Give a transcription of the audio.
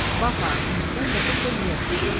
Bax ha, indidən qəti söz vermirəm.